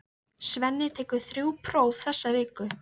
Svenni tekur þrjú próf þessa viku.